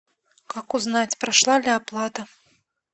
как узнать прошла ли оплата